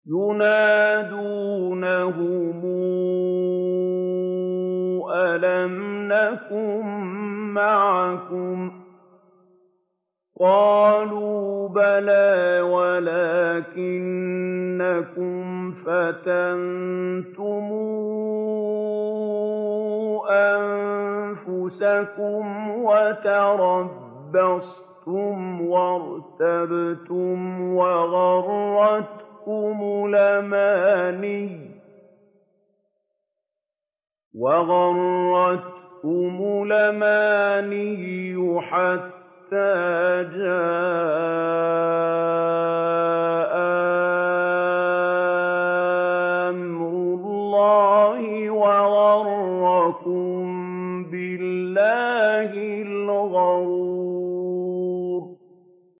يُنَادُونَهُمْ أَلَمْ نَكُن مَّعَكُمْ ۖ قَالُوا بَلَىٰ وَلَٰكِنَّكُمْ فَتَنتُمْ أَنفُسَكُمْ وَتَرَبَّصْتُمْ وَارْتَبْتُمْ وَغَرَّتْكُمُ الْأَمَانِيُّ حَتَّىٰ جَاءَ أَمْرُ اللَّهِ وَغَرَّكُم بِاللَّهِ الْغَرُورُ